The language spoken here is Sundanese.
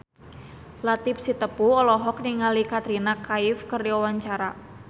Latief Sitepu olohok ningali Katrina Kaif keur diwawancara